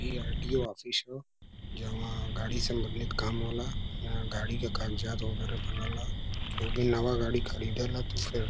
इ RTO office ह जहवाँ गाड़ी सम्बंधित काम होला। यहां गाड़ी के कागजात वगैरा बनेला क्योंकि नवा गाड़ी ख़रीदेला तो फिर --